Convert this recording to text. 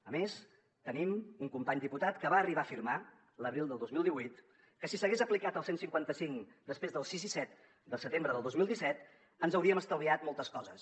a més tenim un company diputat que va arribar a afirmar l’abril del dos mil divuit que si s’hagués aplicat el cent i cinquanta cinc després del sis i set de setembre del dos mil disset ens hauríem estalviat moltes coses